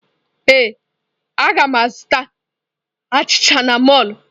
Ee, a ga m azụta achịcha n'mọlụ.